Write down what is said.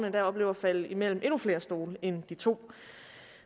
endda opleve at falde imellem endnu flere stole end de to